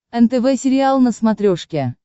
нтв сериал на смотрешке